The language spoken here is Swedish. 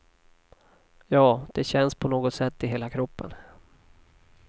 Ja, det känns på något sätt i hela kroppen.